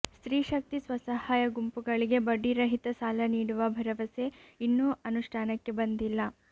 ಸ್ತ್ರೀ ಶಕ್ತಿ ಸ್ವಸಹಾಯ ಗುಂಪುಗಳಿಗೆ ಬಡ್ಡಿರಹಿತ ಸಾಲ ನೀಡುವ ಭರವಸೆ ಇನ್ನೂ ಅನುಷ್ಠಾನಕ್ಕೆ ಬಂದಿಲ್ಲ